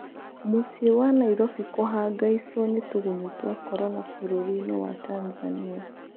Mũciĩ wa Nairobi kũhangaicwo nĩ tũgunyũtwa Korona bũrũrinĩ wa Tanzania.